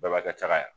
Baba ka ca ka